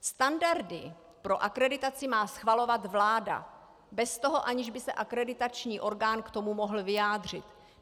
Standardy pro akreditaci má schvalovat vláda bez toho, aniž by se akreditační orgán k tomu mohl vyjádřit.